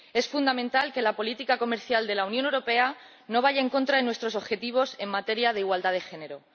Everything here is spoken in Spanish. Es fundamental que la política comercial de la Unión Europea no vaya en contra de nuestros objetivos en materia de igualdad de género.